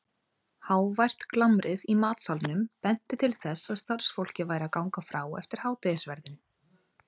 Hávært glamrið í matsalnum benti til þess að starfsfólkið væri að ganga frá eftir hádegisverðinn.